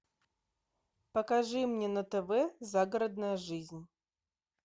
покажи мне на тв загородная жизнь